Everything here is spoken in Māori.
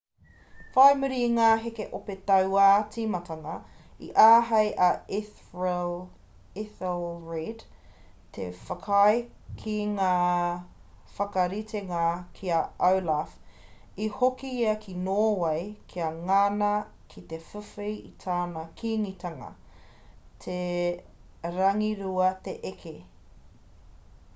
whai muri i ngā heke ope tauā tīmatanga i āhei a ethelred te whakaae ki ngā whakaritenga ki a olaf i hoki ia ki nōwei kia ngana ki te whiwhi i tana kīngitanga he rangirua te eke